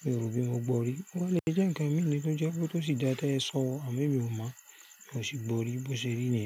Mi ò rò bí mo gbọ́ rí. Ó lè jẹ́ ǹkan mìí ni tó jẹ́ pé tó sì dáa ti e sọ, àmọ́ èmi ò mọ̀, mi o sì gbọ́ rí bó ṣe rí níyen.